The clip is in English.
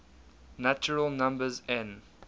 natural numbers n